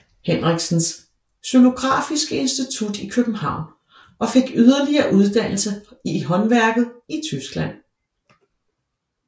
Hendriksens xylografiske Institut i København og fik yderligere uddannelse i håndværket i Tyskland